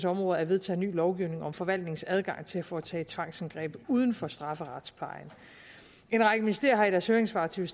områder er vedtaget ny lovgivning om forvaltningens adgang til at foretage tvangsindgreb uden for strafferetsplejen en række ministerier har i deres høringssvar til